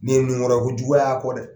Ne nun kɔrɔ ko juguya ya kɔ dɛ!